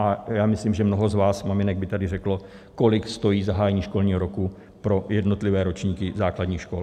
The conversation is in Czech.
A já myslím, že mnoho z vás maminek by tady řeklo, kolik stojí zahájení školního roku pro jednotlivé ročníky základních škol.